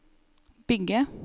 bygge